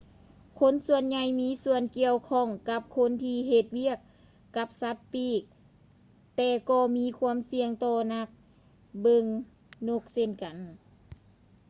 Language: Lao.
ຄົນສ່ວນໃຫຍ່ມີສ່ວນກ່ຽວຂ້ອງກັບຄົນທີ່ເຮັດວຽກກັບສັດປີກແຕ່ກໍມີຄວາມສ່ຽງຕໍ່ນັກເບິ່ງນົກເຊັ່ນກັນ